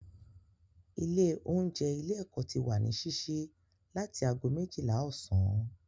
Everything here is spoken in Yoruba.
Ilé oúnjẹ ilé ẹ́kọ́ ti wà ní sísí láti ago méjìlá ọ̀sán